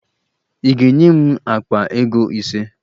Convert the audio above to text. Ị ga-enye m akpa ego ise!